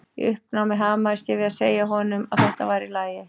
Í uppnámi hamaðist ég við að segja honum að þetta væri í lagi.